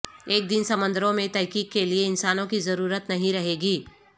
ایک دن سمندروں میں تحقیق کے لیے انسانوں کی ضرورت نہیں رہے گی